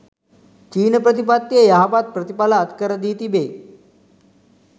චීන ප්‍රතිපත්තිය යහපත් ප්‍රතිඵල අත්කරදී තිබේ.